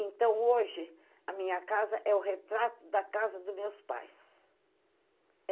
Então, hoje, a minha casa é o retrato da casa dos meus pais.